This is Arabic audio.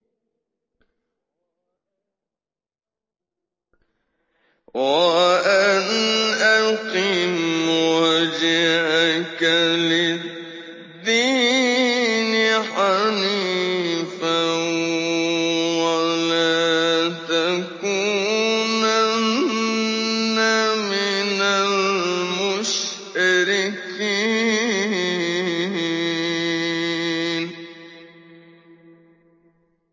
وَأَنْ أَقِمْ وَجْهَكَ لِلدِّينِ حَنِيفًا وَلَا تَكُونَنَّ مِنَ الْمُشْرِكِينَ